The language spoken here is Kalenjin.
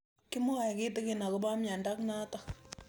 Kimwae kitig'in akopo miondo notok